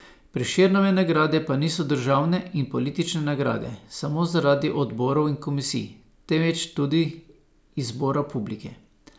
Prešernove nagrade pa niso državne in politične nagrade samo zaradi odborov in komisij, temveč tudi izbora publike.